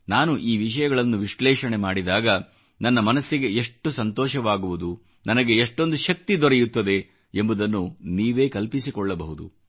ನಾನು ಈ ವಿಷಯಗಳನ್ನು ವಿಶ್ಲೇಷಣೆ ಮಾಡಿದಾಗ ನನ್ನ ಮನಸ್ಸಿಗೆ ಎಷ್ಟು ಸಂತೋಷವಾಗುವುದು ನನಗೆ ಎಷ್ಟೊಂದು ಶಕ್ತಿ ದೊರೆಯುತ್ತದೆ ಎಂಬುದನ್ನು ನೀವೇ ಕಲ್ಪಿಸಿಕೊಳ್ಳಬಹುದು